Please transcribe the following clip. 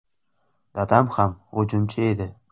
Dadam ham hujumchi edi.